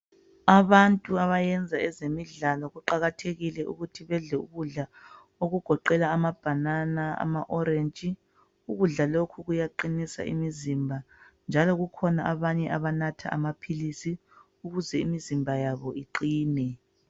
Abantu abayenza ezemidlalo kuqakathekile ukuthi bedleukudla okugoqela amabhanana, amaorentshi. Ukudla lokhu kuyaqinisa imizimba njalo kukhona abanye abanatha amaphikisi ukuze imizimba yabo iqine.